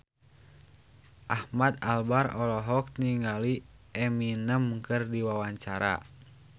Ahmad Albar olohok ningali Eminem keur diwawancara